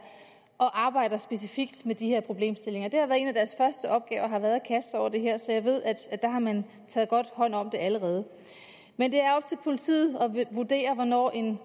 og arbejder specifikt med de her problemstillinger en af deres første opgaver har været at kaste sig over det her så jeg ved at der har man taget godt hånd om det allerede men det er op til politiet at vurdere hvornår en